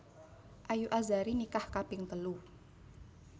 Ayu Azhari nikah kaping telu